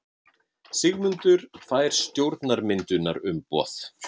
Sigmundur fær stjórnarmyndunarumboð.